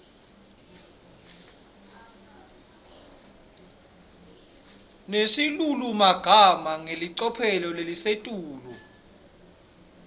nesilulumagama ngelicophelo lelisetulu